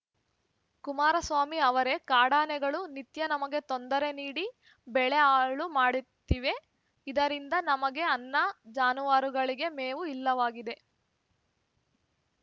ಕುಮಾರಸ್ವಾಮಿ ಅವರೇ ಕಾಡಾನೆಗಳು ನಿತ್ಯ ನಮಗೆ ತೊಂದರೆ ನೀಡಿ ಬೆಳೆ ಹಾಳು ಮಾಡುತ್ತಿವೆ ಇದರಿಂದ ನಮಗೆ ಅನ್ನ ಜಾನುವಾರುಗಳಿಗೆ ಮೇವು ಇಲ್ಲವಾಗಿದೆ